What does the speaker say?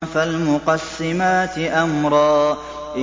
فَالْمُقَسِّمَاتِ أَمْرًا